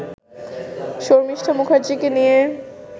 শর্মিষ্ঠা মুখার্জিকে নিয়ে